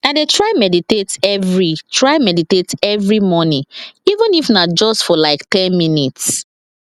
i dey try meditate every try meditate every morning even if na just for like ten minutes